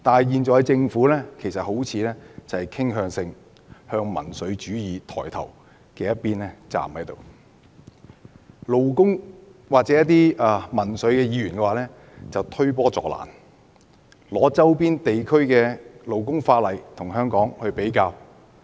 可是，政府現時卻好像傾向靠民粹主義抬頭的一邊站，而勞工界或民粹議員則在推波助瀾，拿周邊地區的勞工法例與香港作比較。